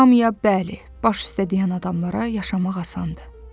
Hamıya bəli, baş üstə deyən adamlara yaşamaq asandır.